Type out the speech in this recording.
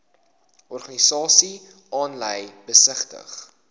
organisasies aanlyn besigtig